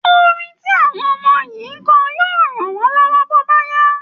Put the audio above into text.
Orin tí àwọn ọmọ yìí ń kọ yóò ràn wọ́n lọ́wọ́ bó bá yá